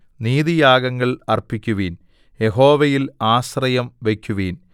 നീതിയാഗങ്ങൾ അർപ്പിക്കുവിൻ യഹോവയിൽ ആശ്രയം വയ്ക്കുവിൻ